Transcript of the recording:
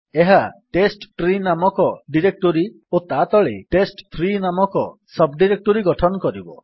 ଏହା ଟେଷ୍ଟଟ୍ରୀ ନାମକ ଡିରେକ୍ଟୋରୀ ଓ ତା ତଳେ ଟେଷ୍ଟ3 ନାମକ ସବ୍ ଡିରେକ୍ଟୋରୀ ଗଠନ କରିବ